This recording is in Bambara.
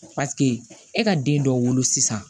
e ka den dɔ wolo sisan